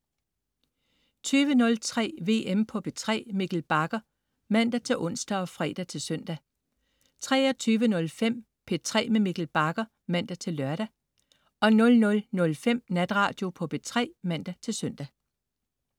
20.03 VM på P3. Mikkel Bagger (man-ons og fre-søn) 23.05 P3 med Mikkel Bagger (man-lør) 00.05 Natradio på P3 (man-søn)